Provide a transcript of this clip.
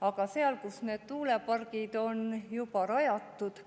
Aga sealt, kus need tuulepargid on juba rajatud,